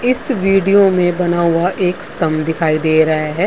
इस वीडियो में बना हुआ एक स्तंभ दिखाई दे रहा है।